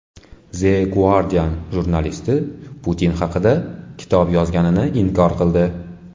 The Guardian jurnalisti Putin haqida kitob yozganini inkor qildi.